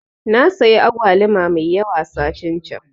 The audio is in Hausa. Nasayi agwaluma mai yawa satin can